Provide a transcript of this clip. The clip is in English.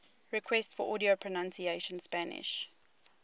requests for audio pronunciation spanish